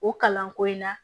O kalanko in na